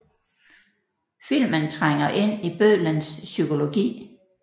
Filmen trænger ind i bødlens psykologi